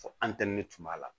Fo an tɛ ne tun b'a la